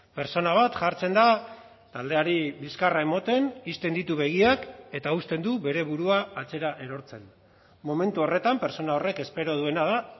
pertsona bat jartzen da taldeari bizkarra ematen ixten ditu begiak eta uzten du bere burua atzera erortzen momentu horretan pertsona horrek espero duena da